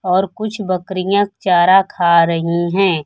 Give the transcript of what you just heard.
और कुछ बकरियां चारा खा रही हैं।